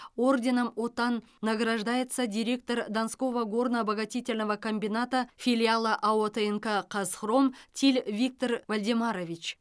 орденом отан награждается директор донского горно обогатительного комбината филиала ао тнк казхром тиль виктор вальдемарович